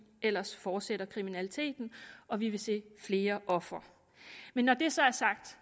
ellers fortsætter kriminaliteten og vi vil se flere ofre når det så er sagt